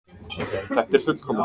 Þetta er fullkomið!